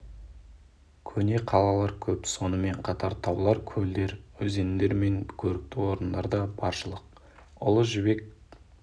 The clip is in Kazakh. көне қалалар көп сонымен қатар таулар көлдер өзендер мен көрікті орындар да баршылық ұлы жібек